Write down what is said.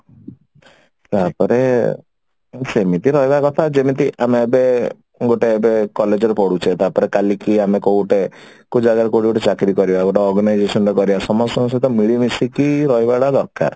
ତାପରେ ସେମିତି ରହିବା କଥା ଯେମିତି ଆମେ ଏବେ ଗୋଟେ ଏବେ college ରେ ପଢୁଛେ ତାପରେ କାଲିକି ଆମେ କଉ ଗୋଟେ କଉ ଜାଗାରେ କଉଠି ଗୋଟେ ଚାକିରି କରିବା ଗୋଟେ organisation ରେ କରିବା ସମସ୍ତଙ୍କ ସହିତ ମିଳିମିଶିକି ରହିବା ଟା ଦରକାର